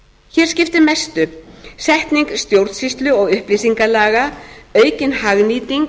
hér skiptir mestu setning stjórnsýslu og upplýsingalaga aukin hagnýting